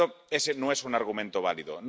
Por lo tanto, ese no es un argumento válido.